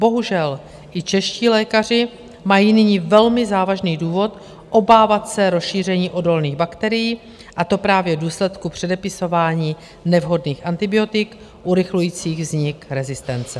Bohužel i čeští lékaři mají nyní velmi závažný důvod obávat se rozšíření odolných bakterií, a to právě v důsledku předepisování nevhodných antibiotik urychlujících vznik rezistence.